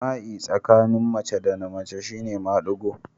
Jima'i tsakanin mace da mace shi ne madigo